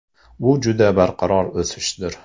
Bu juda barqaror o‘sishdir.